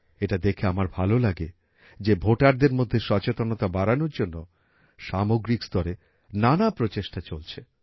এটা দেখে আমার ভালো লাগে যে ভোটারদের মধ্যে সচেতনতা বাড়ানোর জন্য সামগ্রিক স্তরে নানা প্রচেষ্টা চলছে